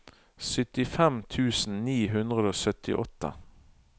syttifem tusen ni hundre og syttiåtte